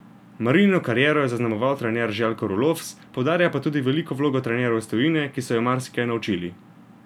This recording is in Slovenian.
Marinino kariero je zaznamoval trener Željko Rulofs, poudarja pa tudi veliko vlogo trenerjev iz tujine, ki so jo marsikaj naučili.